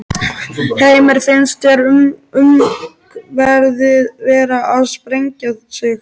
Heimir: Finnst þér umferðin vera að sprengja sig?